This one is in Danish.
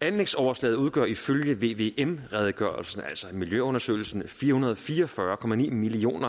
anlægsoverslaget udgør ifølge vvm redegørelsen altså miljøundersøgelsen fire hundrede og fire og fyrre million